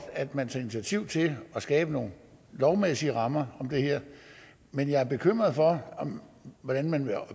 at man tager initiativ til at skabe nogle lovmæssige rammer om det her men jeg er bekymret for hvordan man